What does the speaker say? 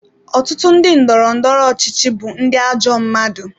Ọtụtụ ndị ndọrọ ndọrọ ọchịchị bụ ndị ajọ mmadụ.